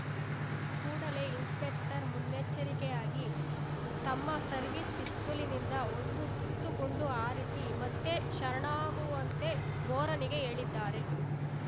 ಕೂಡಲೇ ಇನ್ಸ್‌ಪೆಕ್ಟರ್‌ ಮುನ್ನೆಚ್ಚರಿಕೆಯಾಗಿ ತಮ್ಮ ಸರ್ವಿಸ್‌ ಪಿಸ್ತೂಲ್‌ನಿಂದ ಒಂದು ಸುತ್ತು ಗುಂಡು ಹಾರಿಸಿ ಮತ್ತೆ ಶರಣಾಗುವಂತೆ ಬೋರನಿಗೆ ಹೇಳಿದ್ದಾರೆ